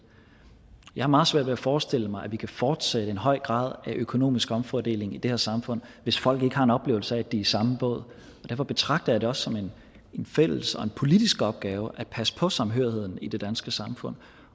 jeg har meget svært ved at forestille mig at vi kan fortsætte en høj grad af økonomisk omfordeling i det her samfund hvis folk ikke har en oplevelse af at de er i samme båd derfor betragter det også som en fælles og en politisk opgave at passe på samhørigheden i det danske samfund